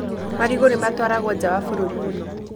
Marigũ nĩ matwaragwo njaa wa bũrũri mũno